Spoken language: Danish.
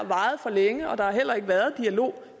varet for længe og der har heller ikke været dialog